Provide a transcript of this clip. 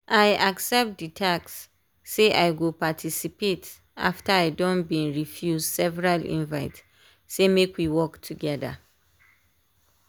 i accept the task say i go paticipate after i don been refuse several invite say make we work together.